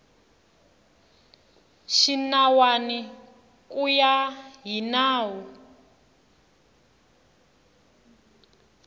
xinawana ku ya hi nawu